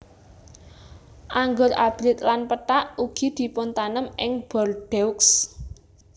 Anggur abrit lan pethak ugi dipuntanem ing Bordeaux